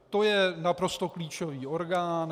To je naprosto klíčový orgán.